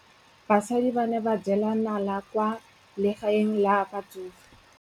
Basadi ba ne ba jela nala kwaa legaeng la batsofe.